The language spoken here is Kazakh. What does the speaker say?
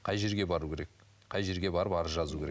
қай жерге бару керек қай жерге барып арыз жазу керек